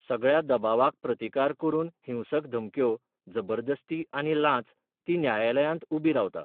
सगळ्या दबावाक प्रतिकार करून हिंसक धमक्यो, जबरदस्ती आनी लांच, ती न्यायालयांत उबी रावता.